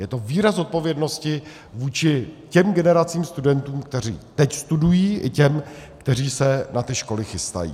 Je to výraz odpovědnosti vůči těm generacím studentů, kteří teď studují, i těm, kteří se na ty školy chystají.